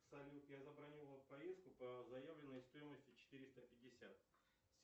салют я забронировал поездку по заявленной стоимости четыреста пятьдесят